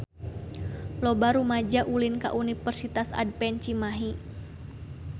Loba rumaja ulin ka Universitas Advent Cimahi